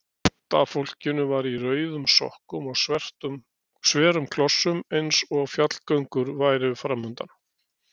Sumt af fólkinu var í rauðum sokkum og sverum klossum eins og fjallgöngur væru framundan.